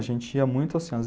A gente ia muito ao cinema.